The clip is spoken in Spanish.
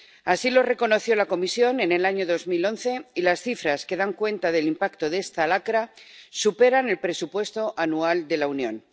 Así lo reconoció la Comisión en el año 2011, y las cifras que dan cuenta del impacto de esta lacra superan el presupuesto anual de la Unión.